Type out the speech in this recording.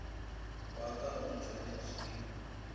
wa ka o ntshwanetše ke